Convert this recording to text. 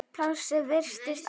Plássið virtist alltaf vera nóg.